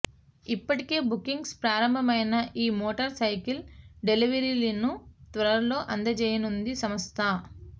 ఇప్పటికే బుకింగ్స్ ప్రారంభమైన ఈ మోటార్ సైకిల్ డెలీవరీలను త్వరలో అందజేయనుందీ సంస్థ